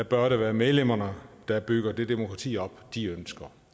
bør det være medlemmerne der bygger det demokrati op de ønsker